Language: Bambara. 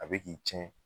A bɛ k'i cɛn